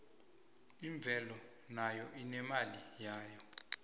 imvelo nayo inemali yayo